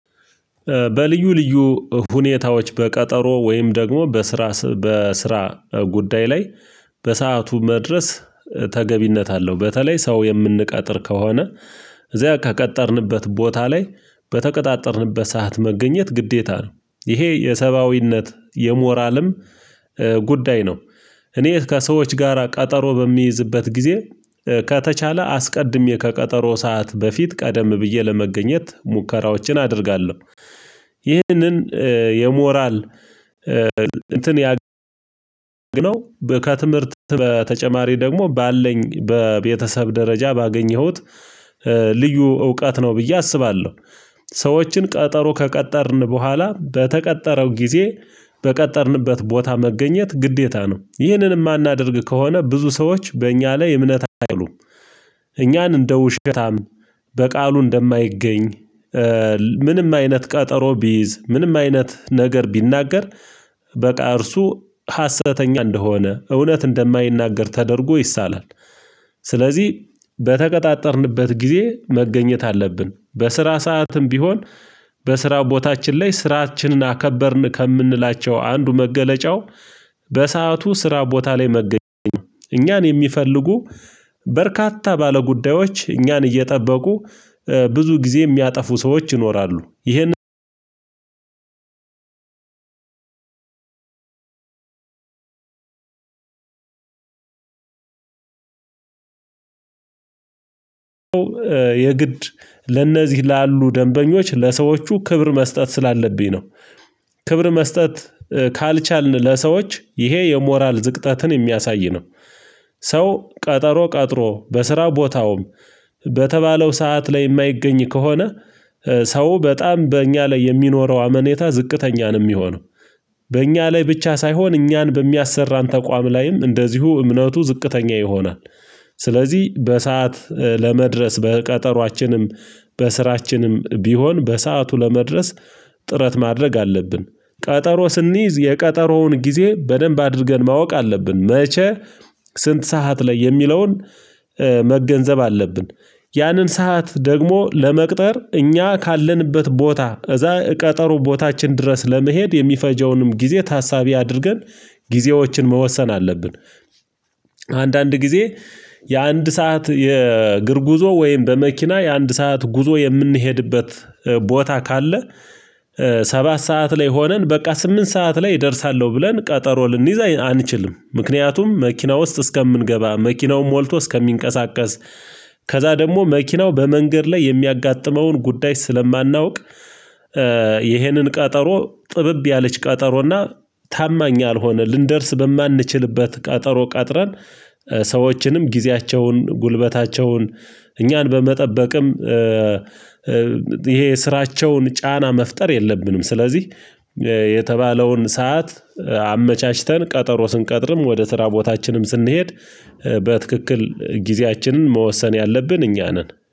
በልዩ ልዩ ሁኔታዎች በቀጠሮ ወይም ደግሞ በስራ በስራ ጉዳይ ላይ በሰአቱ መድረስ። ተገቢነት አለው በተለይ ሰው የምንቀጥር ከሆነ እዚያ ከቀጠርንበት ቦታ ላይ በተቀጣጠርንበት ሰዓት መገኘት ግዴታ ነው ይሄ የሰባዊነት የሞራልም ጉዳይ ነው። እኔ ከሰዎች ጋራ ቀጠሮ በሚይዝበት ጊዜ ከተቻለ አስቀድሜ ከቀጠሮ ሰዓት በፊት ቀደም ብዬ ለመገኘት ሙከራዎችን አደርጋለሁ። ይህንን የሞራል እንትን ያገኘው ከትምህርት በተጨማሪ ደግሞ ባለኝ በቤተሰብ ደረጃ ባገኘሁት ልዩ እውቀት ነው ብዬ አስባለሁ። ሰዎችን ቀጠሮ ከቀጠርን በኋላ በተቀጠረው ጊዜ በቀጠርንበት ቦታ መገኘት ግዴታ ነው ይህንን የማናደርግ ከሆነ ብዙ ሰዎች በእኛ ላይ እምነት አይሉም። እኛን እንደውሸታም በቃሉ እንደማይገኝ ምንም አይነት ቀጠሮ ቢይዝ ምንም አይነት ነገር ቢናገር በቃ እርሱ ሀሰተኛ እንደሆነ እውነት እንደማይናገር ተደርጎ ይሳላል። ስለዚህ በተቀጣጠርንበት ጊዜ መገኘት አለብን በስራ ሰዓትም ቢሆን በስራ ቦታችን ላይ ስራችንን አከበርን ከምንላቸው አንዱ መገለጫው። በሰአቱ ስራ ቦታ ላይ መገኘት እኛን የሚፈልጉ በርካታ ባለጉዳዮች እኛን እየጠበቁ ብዙ ጊዜ የሚያጠፉ ሰዎች ይኖራሉ። ይህንን የግድ ለነዚህ ላሉ ደንበኞች ለሰዎቹ ክብር መስጠት ስላለብኝ ነው። ክብር መስጠት ካልቻልን ለሰዎች ይሄ የሞራል ዝቅጠትን የሚያሳይ ነው። ሰው ቀጠሮ ቀጥሮ በስራ ቦታውም በተባለው ሰዓት ላይ የማይገኝ ከሆነ ሰው በጣም በእኛ ላይ የሚኖረው አመኔታ ዝቅተኛን ነው የሚሆነው። በእኛ ላይ ብቻ ሳይሆን እኛን በሚያሰራን ተቋም ላይም እንደዚሁ እምነቱ ዝቅተኛ ይሆናል። ስለዚህ በሰአት ለመድረስ በቀጠሮአችንም በስራችንም ቢሆን በሰአቱ ለመድረስ ጥረት ማድረግ አለብን። ቀጠሮ ስንይዝ የቀጠሮውን ጊዜ በደንብ አድርገን ማወቅ አለብን መቼ ስንት ሰዓት ላይ የሚለውን መገንዘብ አለብን። ያንን ሰዓት ደግሞ ለመቅጠር እኛ ካለንበት ቦታ እዛ ቀጠሮ ቦታችን ድረስ ለመሄድ የሚፈጀውንም ጊዜ ታሳቢ አድርገን ጊዜዎችን መወሰን አለብን። አንዳንድ ጊዜ የአንድ ሰዓት የእግር ጉዞ ወይም በመኪና የአንድ ሰዓት ጉዞ የምንሄድበት ቦታ ካለ ሰባት ሰዓት ላይ ሆነን በቃ ስምንት ሰዓት ላይ እደርሳለሁ ብለን ቀጠሮ ልንይዝ አንችልም። ምክንያቱም መኪና ውስጥ እስከምንገባ መኪናው ሞልቶ እስከሚንቀሳቀስ ከዛ ደግሞ መኪናው በመንገድ ላይ የሚያጋጥመውን ጉዳይ ስለማናውቅ ይሄንን ቀጠሮ ጥብብ ያለች ቀጠሮና ታማኝ ያልሆነ ልንደርስ በማንችልበት ቀጠሮ ቀጥረን ሰዎችንም ጊዜያቸውን ጉልበታቸውን እኛን በመጠበቅም ይሄ ስራቸውን ጫና መፍጠር የለብንም። ስለዚህ የተባለውን ሰዓት አመቻችተን ቀጠሮ ስንቀጥርም ወደ ስራ ቦታችንም ስንሄድ በትክክል ጊዜያችንን መወሰን ያለብን እኛ ነን